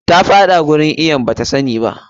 Ta faɗa cikin wurin iwon bata sani ba.